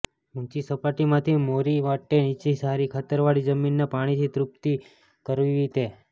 ઊંચી સપાટીમાંથી મોરી વાટે નીચી સારી ખાતરવાળી જમીનને પાણીથી તૃપ્તિ કરવી તે